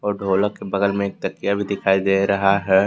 ढोलक के बगल में एक तकिया भी दिखाई दे रहा है।